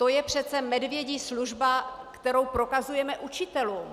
To je přece medvědí služba, kterou prokazujeme učitelům.